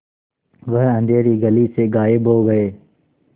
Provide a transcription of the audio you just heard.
वह अँधेरी गली से गायब हो गए